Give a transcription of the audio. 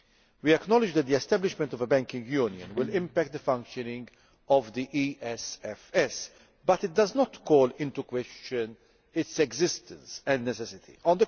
We acknowledge that the establishment of a banking union will impact on the functioning of the ESFS, but it does not call into question its existence or the need for it.